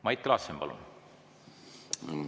Mait Klaassen, palun!